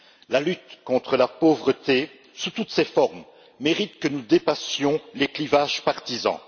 La lutte contre la pauvreté sous toutes ses formes mérite que nous dépassions les clivages partisans.